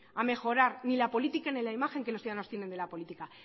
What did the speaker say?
a mejorar ni la política ni la imagen que los ciudadanos tienen de la política